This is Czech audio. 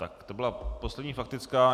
Tak to byla poslední faktická.